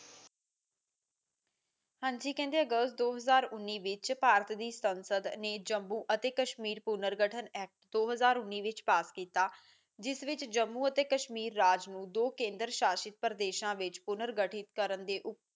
ਹਾਂਜੀ ਕਹਿੰਦੇ ਅਗਸਤ ਦੋ ਹਜ਼ਾਰ ਉਨੀ ਵਿੱਚ ਭਾਰਤ ਦੀ ਸੰਸਦ ਨੇ ਜੰਮੂ ਅਤੇ ਕਸ਼ਮੀਰ ਪੂਰਨ ਗਠਨ ਦੋ ਹਜ਼ਾਰ ਉਨ੍ਹੇ ਵਿੱਚ ਪਾਸ ਕੀਤਾ ਜਿਸ ਵਿੱਚ ਜੰਮੂ ਅਤੇ ਕਸ਼ਮੀਰ ਰਾਜ ਨੂੰ ਦੋ ਕੇਦਰ ਸ਼ਾਸ਼ਿਤ ਪ੍ਰਦੇਸਾਂ ਵਿੱਚ ਪੂਰਨ ਗਠਿਤ ਕਰਨ